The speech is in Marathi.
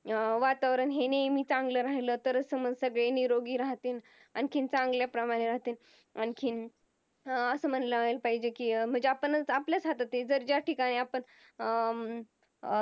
अं वातावरण हे नेहमी चांगला राहील तर समज सगळे निरोगी राहतील, आणखीन चांगल्या प्रमाणात आणखीन अं आस म्हणाला पाहिजेत कि म्हणजे आपणच आपल्याच हातात आहे जर ज्या ठिकाणी अं